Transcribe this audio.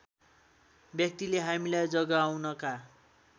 व्यक्तिले हामीलाई जगाउनका